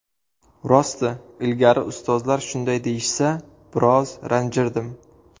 Rosti, ilgari ustozlar shunday deyishsa, biroz ranjirdim.